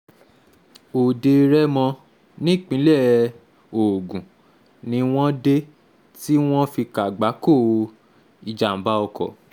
òde-rémó nípínlẹ̀ ogun ni wọ́n dé tí wọ́n fi kàgbákò ìjàmàbá oko